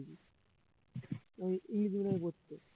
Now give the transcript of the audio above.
ও পড়তো